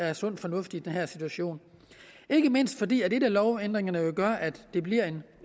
er sund fornuft i den her situation ikke mindst fordi en af lovændringerne jo gør at der bliver en